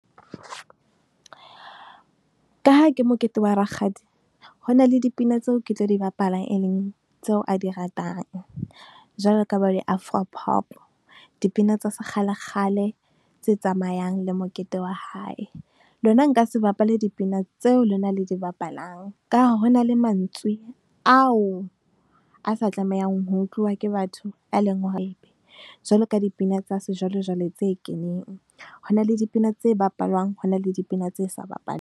Ka ha ke mokete wa rakgadi, hona le dipina tseo, ke tlo di bapala, e leng tseo a di ratang. Jwalo ka bo di-Afro Pop dipina tsa sekgale, kgale tse tsamayang le mokete wa hae. Lona nka se bapale dipina tseo lona le di bapalang. Ka ha ho na le emantswe ao a sa tlamehang ho utluwa ke batho Be leng hore jwaloka dipina tsa sejwalejwale tse keneng, ho na le dipina tse bapalwang, ho na le dipina tse sa .